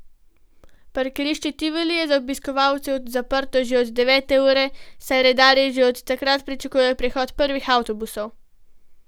Parkirišče Tivoli je za obiskovalce zaprto že od devete ure, saj redarji že od takrat pričakujejo prihod prvih avtobusov.